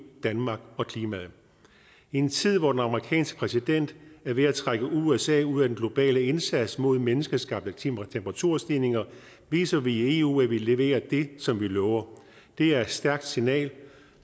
danmark og klimaet i en tid hvor den amerikanske præsident er ved at trække usa ud af den globale indsats mod menneskeskabte temperaturstigninger viser vi i eu at vi leverer det som vi lover det er et stærkt signal